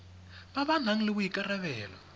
ba ba nang le boikarabelo